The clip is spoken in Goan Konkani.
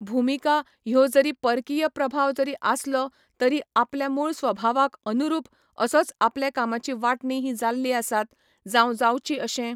भुमिका ह्यो जरी परकीय प्रभाव जरी आसलो तरी आपल्या मूळ स्वभावाक अनुरूप असोच आपले कामाची वांटणी ही जाल्ली आसात, जांव जावची अशें